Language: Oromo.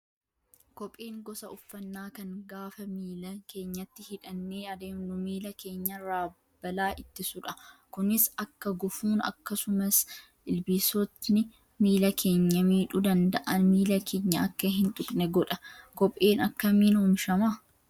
Kopheen gosa uffannaa kan gaafa miila keenyatti hidhannee adeemnu miila keenyarraa balaa ittisudha. Kunis akka gufuun akkasumas ilbiisonni miila keenya miidhuu danda'an miila keenya akka hin tuqne godha. Kopheen akkamiin oomishama?